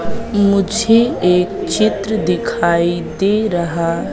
मुझे एक चित्र दिखाई दे रहा--